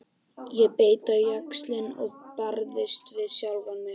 Ég beit á jaxlinn og barðist við sjálfa mig.